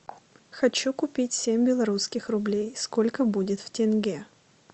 хочу купить семь белорусских рублей сколько будет в тенге